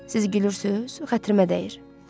Siz gülürsünüz, xətrimə dəyir.